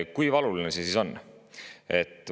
Kui valuline see siis on?